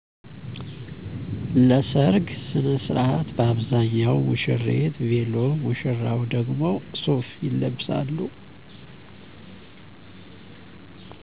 ለሰርግ ሥነሥርዓት በአብዛኛው ሙሽሪት ቬሎ ሙሽራው ደግሞ ሱፍ ይለብሳሉ